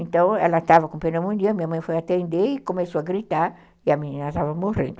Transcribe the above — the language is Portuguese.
Então, ela estava com pneumonia, minha mãe foi atender e começou a gritar, e a menina estava morrendo.